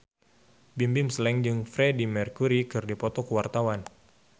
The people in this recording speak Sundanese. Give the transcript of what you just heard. Bimbim Slank jeung Freedie Mercury keur dipoto ku wartawan